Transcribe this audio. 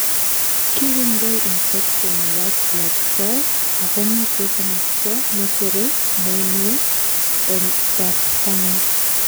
kiringdoi infection white blood cells akomitei komosto neterei moinwek en bortangung